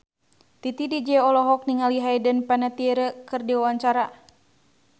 Titi DJ olohok ningali Hayden Panettiere keur diwawancara